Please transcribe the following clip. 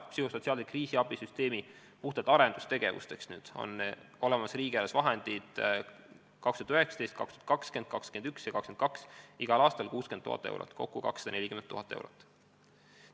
Psühhosotsiaalse kriisiabisüsteemi puhtalt arendustegevuseks on riigieelarves perioodil 2019–2022 igal aastal 60 000 eurot, kokku 240 000 eurot.